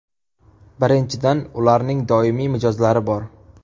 Birinchidan, ularning doimiy mijozlari bor.